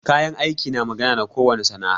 Kayan aiki na magana na ko wani sana'a.